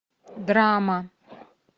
драма